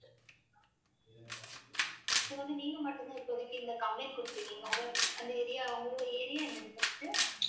இது வந்து நீங்க மட்டும்தான் இப்போதைக்கு இந்த complaint கொடுத்திருக்கீங்க உங்க அந்த area உங்களுடைய area என்னது first உ